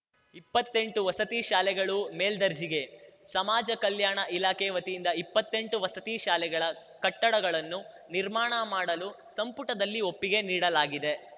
ಇಪ್ಪತ್ತೆಂಟು ವಸತಿ ಶಾಲೆಗಳು ಮೇಲ್ದರ್ಜೆಗೆ ಸಮಾಜ ಕಲ್ಯಾಣ ಇಲಾಖೆ ವತಿಯಿಂದ ಇಪ್ಪತ್ತೆಂಟು ವಸತಿ ಶಾಲೆಗಳ ಕಟ್ಟಡಗಳನ್ನು ನಿರ್ಮಾಣ ಮಾಡಲು ಸಂಪುಟದಲ್ಲಿ ಒಪ್ಪಿಗೆ ನೀಡಲಾಗಿದೆ